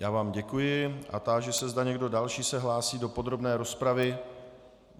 Já vám děkuji a táži se, zda někdo další se hlásí do podrobné rozpravy.